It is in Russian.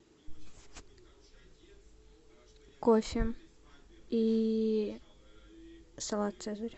кофе и салат цезарь